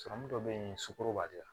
Sɔrɔmu dɔ bɛ yen sukaro b'ale la